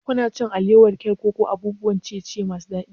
Kuna cin alewa, cake ko abun ciye-ciye masu daɗi?